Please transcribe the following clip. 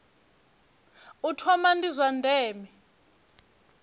u thoma ndi zwa ndeme